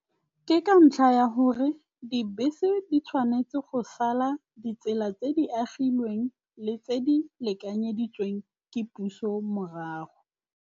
Ke ka ntlha ya gore dibese di tshwanetse go sala ditsela tse di agilweng le tse di lekanyeditsweng ke puso morago.